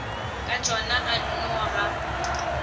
ka tšona a nno ga